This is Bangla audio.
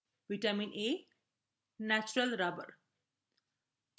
vitamin a natural rubber